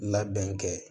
Labɛn kɛ